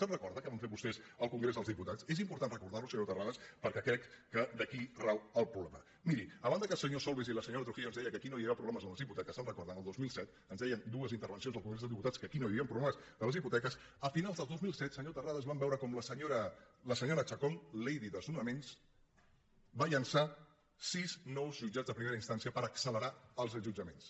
es recorda què van fer vostès al congrés dels dipu·tats és important recordar·ho senyor terrades per·què crec que aquí rau el problema miri a banda que el senyor solbes i la senyora trujillo ens deien que aquí no hi havien problemes amb les hipoteques se’n re·corden el dos mil set ens deien dues intervencions al congrés dels diputats que aquí no hi havien proble·mes de les hipoteques a finals del dos mil set senyor ter·rades vam veure com la senyora chacón lady des·nonaments va llançar sis nous jutjats de primera instància per accelerar els desallotjaments